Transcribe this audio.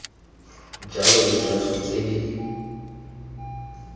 jalo le jalo tse di